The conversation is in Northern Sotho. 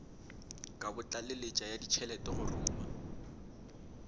kabotlaleletši ya ditšhelete go ruma